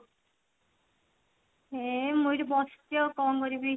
ଏଇ ମୁଁ ଏଠି ବସିଛି ଆଉ କଣ କରିବି